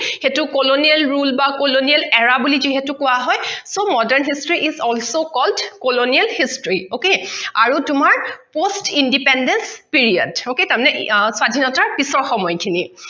সেইটো colonial rule বা colonial era বুলি যিহেতু কোৱা হয় so modern history is also called colonial history okay আৰু তোমাৰ post independence period okay তাৰ মানে স্বাধীনতা পিছৰ সময়খিনি